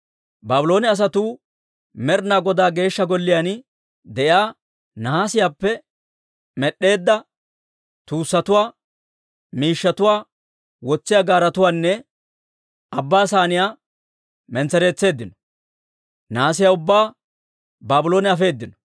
Baabloone asatuu Med'ina Godaa Geeshsha Golliyaan de'iyaa nahaasiyaappe med'd'eedda tuussatuwaa, miishshatuwaa wotsiyaa gaaretuwaanne Abbaa Saaniyaa mentsereetseeddino; nahaasiyaa ubbaa Baabloone afeedino.